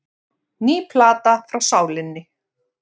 Ný plata frá Sálinni